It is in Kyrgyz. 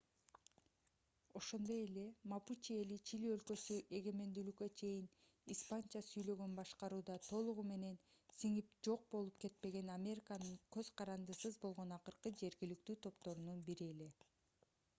ошондой эле мапучи эли чили өлкөсү эгемендүүлүккө чейин испанча сүйлөгөн башкарууда толугу менен сиңип жок болуп кетпеген американын көз карандысыз болгон акыркы жергиликтүү топторунан бири эле